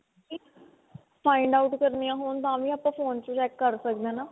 find out ਕਰਨੀਆ ਹੋਣ ਤਾਂ ਵੀ ਆਪਾਂ phone ਚੋਂ check ਕਰ ਸਕਦੇ ਹਾਂ ਨਾ